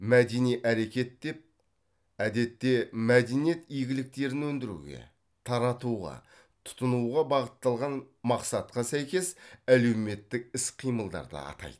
мәдени әрекет деп әдетте мәдениет игіліктерін өндіруге таратуға тұтынуға бағытталған мақсатқа сәйкес әлеуметтік іс қимылдарды атайды